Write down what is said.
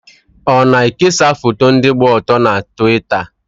Ọ na-ekesa foto ndị gba ọtọ na Twita?